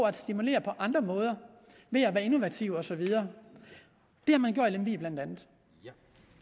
at stimulere på andre måder ved at være innovativ og så videre det har man blandt andet